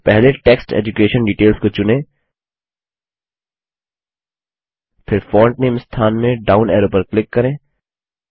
तो पहले text education details को चुनें फिर फोंट नामे स्थान में डाउन ऐरो पर क्लिक करें